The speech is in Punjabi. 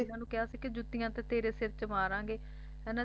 ਨੂੰ ਕਿਹਾ ਸੀ ਕਿ ਜੁੱਤੀਆਂ ਤਾਂ ਤੇਰੇ ਸਰ ਚ ਮਾਰਾਂਗੇ ਹੈ ਨਾ